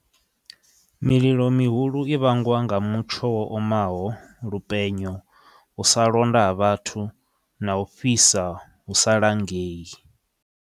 Mililo mihulu i vhangwa nga mutsho wo omaho, lupenyo, u sa londa ha vhathu na u fhisa hu sa langei.